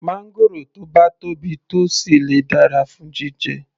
Máńgòrò tó bá tóbi tó sì le dára fún jíjẹ